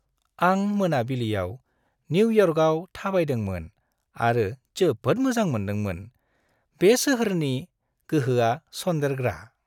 आं मोनाबिलियाव निउयर्कआव थाबायदोंमोन आरो जोबोद मोजां मोनदोंमोन। बे सोहोरनि गोहोआ सनदेरग्रा।